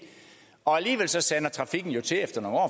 og alligevel sander trafikken til efter nogle år